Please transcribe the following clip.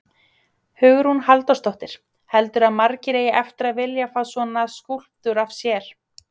Hugrún Halldórsdóttir: Heldurðu að margir eigi eftir að vilja fá svona skúlptúr af sér?